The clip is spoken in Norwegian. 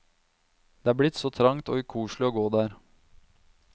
Det er blitt så trangt og ukoselig å gå der.